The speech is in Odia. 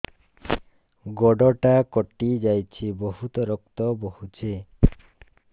ଗୋଡ଼ଟା କଟି ଯାଇଛି ବହୁତ ରକ୍ତ ବହୁଛି